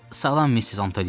Salam, Missis Antoni!